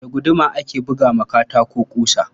Da guduma ake buga wa katako ƙusa.